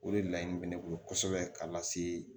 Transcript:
O de la in bɛ ne bolo kosɛbɛ k'a lase